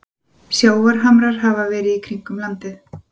sjávarhamrar hafa verið kringum landið